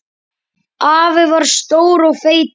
Afi var stór og feitur.